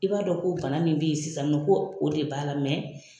I b'a dɔn ko bana min bɛ ye sisan nɔ ko o de b'a la